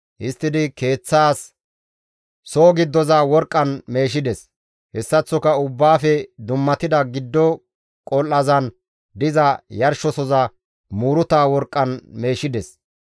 Histtidi Keeththaas soo giddoza worqqan meeshides; hessaththoka Ubbaafe dummatida giddo qol7azan diza yarshosoza muuruta worqqan meeshides.